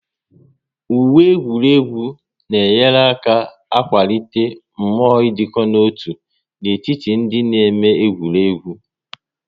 Uwe egwuregwu na enyere aka akwalite mmụọ idiko nọ-otu n'etiti ndị na-eme egwuregwu